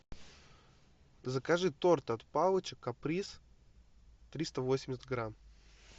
закажи торт от палыча каприз триста восемьдесят грамм